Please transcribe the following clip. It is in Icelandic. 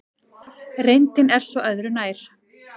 Reyndin er svo öðru nær.